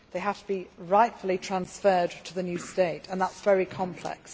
they have to be rightfully transferred to the new state, and that is very complex.